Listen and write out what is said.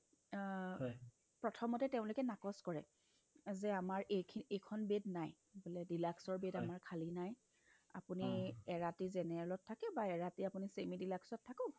অ অহ্ প্ৰথমতে তেওঁলোকে নাকচ কৰে যে আমাৰ এইখিনি এইখন bed নাই বোলে deluxe ৰ bed আমাৰ খালী নাই আপুনি এৰাতি general ত থাকি বা এৰাতি আপুনি semi deluxe ত থাকক